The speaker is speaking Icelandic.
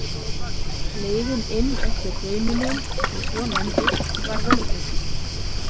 Leiðin inn eftir hraununum- sem svo nefndust- var vörðuð.